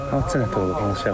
Hadisə necə olub, hansı şəraitdə?